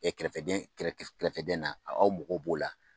Ɛ kɛrɛfɛdɛn kɛrɛfɛdɛn na aw mɔgɔw b'o la